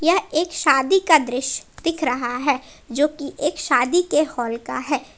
यह एक शादी का दृश्य दिख रहा है जोकि एक शादी के हाल का है।